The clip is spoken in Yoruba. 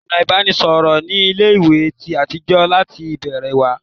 Ọ̀nà ìbánisọ̀rọ̀ ní ilé ìwé ti yàtọ̀ láti ìbẹ̀rẹ̀ wá